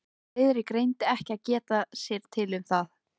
Friðrik reyndi ekki að geta sér til um það.